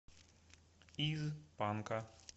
из панка